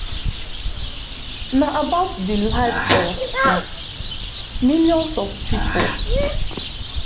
na about di lives of um millions of pipo